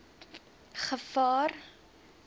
gevaar